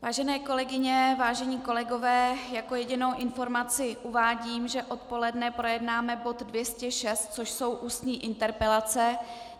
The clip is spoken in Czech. Vážené kolegyně, vážení kolegové, jako jedinou informaci uvádím, že odpoledne projednáme bod 206, což jsou ústní interpelace.